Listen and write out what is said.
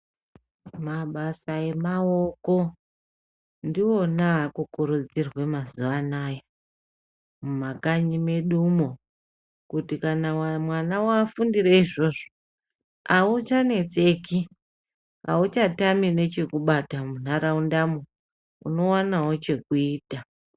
Mabasa emaoko ndiwona aakukurudzirwe mazuva anaya mumakanyi medumwo. Kuti mwana wafundire izvozvo, hauchanetseki, hauchatami nechekubata munharaunda, unowanawo chekuita.